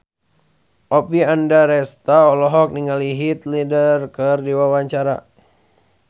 Oppie Andaresta olohok ningali Heath Ledger keur diwawancara